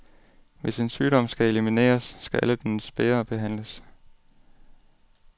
Hvis en sygdom skal elimineres, skal alle dens bærere behandles.